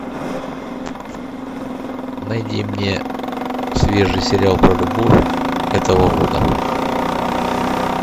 найди мне свежий сериал про любовь этого года